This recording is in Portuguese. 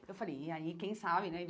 Eu falei, e aí quem sabe, né?